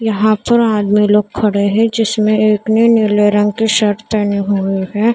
यहाँ पर आदमी लोग खड़े हैं जिसमें एक ने नीले रंग की शर्ट पहनी हुई है।